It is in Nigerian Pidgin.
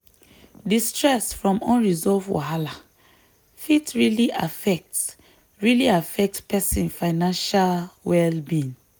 di stress from unresolved wahala fit really affect really affect person financial well-being.